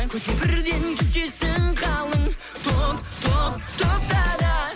көзге бірден түсесің қалың топ топ топта да